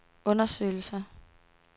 undersøgelser